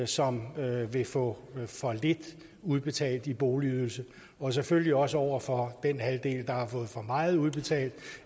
som vil få for lidt udbetalt i boligydelse og selvfølgelig også over for den halvdel der har fået for meget udbetalt